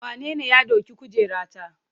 Wanene ya ɗauki kujerata?